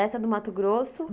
Essa do Mato Grosso?